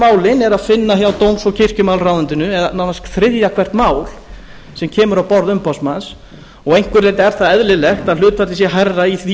málin er að finna hjá dóms og kirkjumálaráðuneytinu eða nánast þriðja hvert mál sem kemur á borð umboðsmanns og að einhverju leyti er það eðlilegt að hlutfallið sé hærra í því